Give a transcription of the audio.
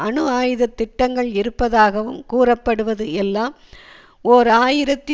அணு ஆயுத திட்டங்கள் இருப்பதாகவும் கூறப்படுவது எல்லாம் ஓர் ஆயிரத்தி